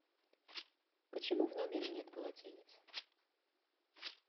почему в номере нет полотенец